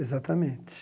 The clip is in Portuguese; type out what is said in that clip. Exatamente.